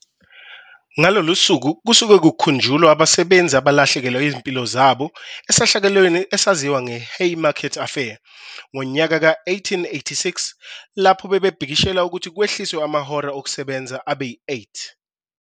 Ngalolu suku kusuke kukhunjulwa abasebenzi abalahlekelwa izimpilo zabo esehlakalweni esaziwa nge"Haymarket Affair" ngonyaka we-1886 lapho babebhikishela ukuthi kwehliswe amahora okusebenza abe yi-8.